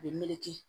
A bɛ meleke